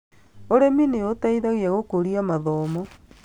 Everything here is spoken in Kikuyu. Ũrĩmi nĩ ũteithagia gũkũria mathomo